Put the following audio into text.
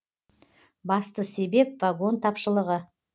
басты себеп вагон тапшылығы